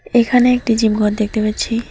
এখানে একটি জিম ঘর দেখতে পাচ্ছি।